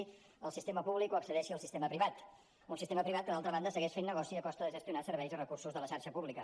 accedeixi al sistema públic o accedeixi al sistema privat un sistema privat que d’altra banda segueix fent negoci a costa de gestionar serveis i recursos de la xarxa pública